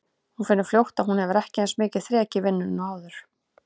Hún finnur fljótt að hún hefur ekki eins mikið þrek í vinnunni og áður.